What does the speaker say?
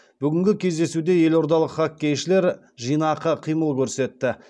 бүгінгі кездесуде елордалық хоккейшілер жинақы қимыл көрсетті